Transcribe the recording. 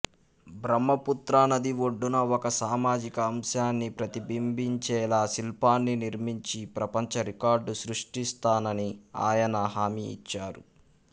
బ్రహ్మపుత్రా నది ఒడ్డున ఒక సామాజిక అంశాన్ని ప్రతిబింబించేలా శిల్పాన్ని నిర్మించి ప్రపంచ రికార్డు సృష్ట్టిస్తానని ఆయన హమీ ఇచ్చారు